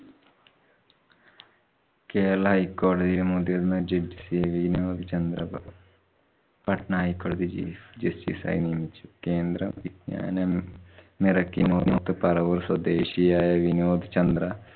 kerala high കോടതി മുതിര്‍ന്ന judge Vinod Chandra Babu Patnaik chief justice ആയി നിയമിച്ചു. കേന്ദ്ര വിജ്ഞാനം മിറക്കി സ്വദേശിയായ വിനോദ് ചന്ദ്ര